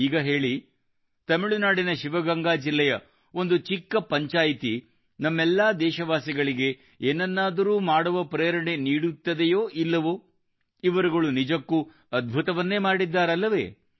ಈಗ ಹೇಳಿ ತಮಿಳುನಾಡಿನ ಶಿವಗಂಗಾ ಜಿಲ್ಲೆಯ ಒಂದು ಚಿಕ್ಕ ಪಂಚಾಯಿತ್ ಎಲ್ಲಾ ದೇಶವಾಸಿಗಳಿಗೆ ಏನನ್ನಾದರೂ ಮಾಡುವ ಪ್ರೇರಣೆ ನೀಡುತ್ತದೆಯೋ ಇಲ್ಲವೋ ಇವರುಗಳು ನಿಜಕ್ಕೂ ಅದ್ಭುತವನ್ನೇ ಮಾಡಿದ್ದಾರಲ್ಲವೇ